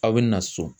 Aw bɛ na so